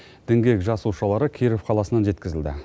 діңгек жасушалары киров қаласынан жеткізілді